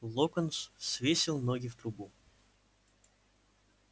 локонс свесил ноги в трубу